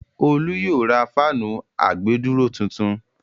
Olú yóò ra fáànù àgbèdúró tuntun.